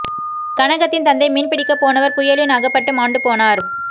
கனகத்தின் தந்தை மீன் பிடிக்கப் போனவர் புயலின் அகப்பட்டு மாண்டு போனார்